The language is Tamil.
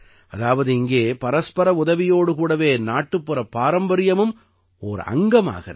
அதாவது இங்கே பரஸ்பர உதவியோடு கூடவே நாட்டுப்புறப் பாரம்பரியமும் ஓர் அங்கமாகிறது